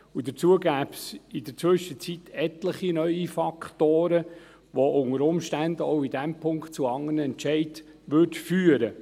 Und dazu gäbe es in der Zwischenzeit etliche neue Faktoren, die unter Umständen auch in diesem Punkt zu anderen Entscheiden führten.